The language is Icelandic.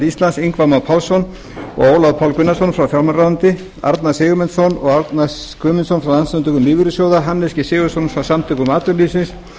íslands ingva má pálsson og ólaf pál gunnarsson frá fjármálaráðuneyti arnar sigurmundsson og árna guðmundsson frá landssamtökum lífeyrissjóða hannes g sigurðsson frá samtökum atvinnulífsins